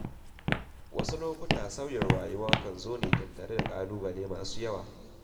Wasu lokuta sauyin rayuwa kan zo tattare da ƙalubale masu yawa.